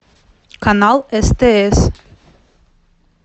канал стс